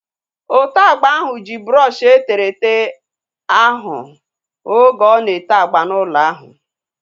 Ote agba ahu ji brọọshi eterete ahu oge ọ na-ete agba n'ụlọ ahu